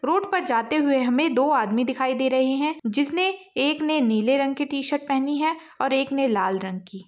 Road पर जाते हुए हमे दो आदमी दिखाई दे रहे है जिसने एक ने नीले रंग की टी-शर्ट पहनी है एक ने लाल रंग की।